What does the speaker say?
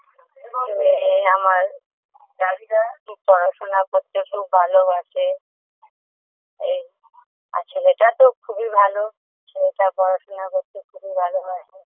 মেয়ে আমার পড়াশোনা করতে খুব ভালোবাসে এই আর ছেলেটা তো খুবই ভালো ছেলেটা পড়াশোনা করতে খুবই ভালোবাসে